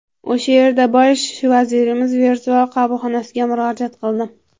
O‘sha yerda Bosh vazirimiz virtual qabulxonasiga murojaat qildim.